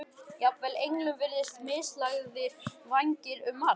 Jafnvel englum virðast mislagðir vængir um margt